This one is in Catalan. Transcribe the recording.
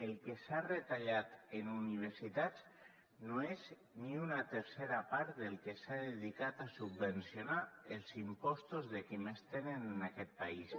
el que s’ha retallat en universitats no és ni una tercera part del que s’ha dedicat a subvencionar els impostos dels qui més tenen en aquest país